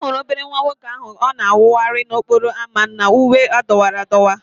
A hụrụ obere nwa nwoke ahụ ka ọ na-awagharị n'okporo ámá na uwe dọwara adọwa